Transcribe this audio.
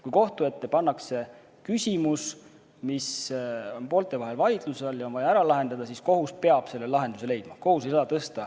Kui kohtu ette pannakse küsimus, mis on poolte vahel vaidluse all ja on vaja ära lahendada, siis peab kohus selle lahenduse leidma.